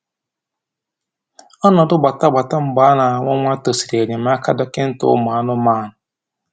Ọnọdụ gbatagbata mgbe a na-amụ nwa tosiri enyemaka dọkịta ụmụ anụmanụ